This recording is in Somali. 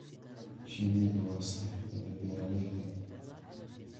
Shinnidu waa saaxiibada beeralayda.